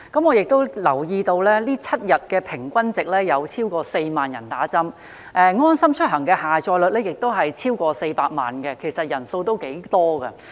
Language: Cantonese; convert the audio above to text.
我亦留意到，最新的疫苗接種7日平均值已超過4萬，而"安心出行"的下載率亦已超過400萬，人數頗多。